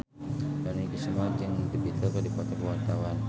Dony Kesuma jeung The Beatles keur dipoto ku wartawan